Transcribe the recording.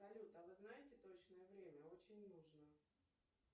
салют а вы знаете точное время очень нужно